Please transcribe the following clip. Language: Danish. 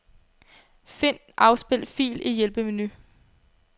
Find afspil fil i hjælpemenu.